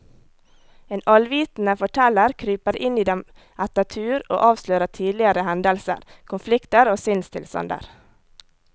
En allvitende forteller kryper inn i dem etter tur og avslører tidligere hendelser, konflikter og sinnstilstander.